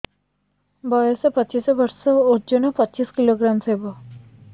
ବୟସ ପଚିଶ ବର୍ଷ ଓଜନ ପଚିଶ କିଲୋଗ୍ରାମସ ହବ